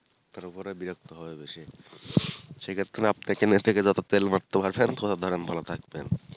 তারপরে বিরক্ত হয়ই বেশি সেক্ষেত্রে আপনি নেতাকে যতো তেল মারতে পারবেন ততো ধরেন ভালো থাকবেন